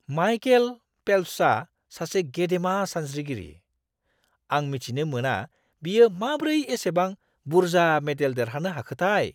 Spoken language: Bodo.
माइकेल फेल्प्सआ सासे गेदेमा सानस्रिगिरि। आं मिथिनो मोना बियो माब्रै एसेबां बुरजा मेडेल देरहानो हाखोथाय!